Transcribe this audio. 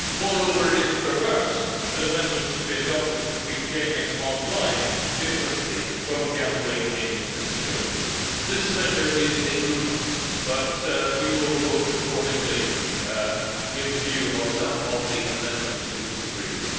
Moreover, it is perverse that amendments should be adopted to treat gaming on line differently from gambling in casinos. This measure is a good one, and we will vote accordingly, including in view of the amendments we disagree with.